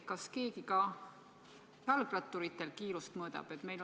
Kas keegi ka jalgratturite kiirust mõõdab?